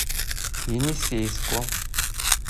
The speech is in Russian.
енисейску